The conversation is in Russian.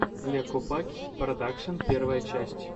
ле копакь продакшен первая часть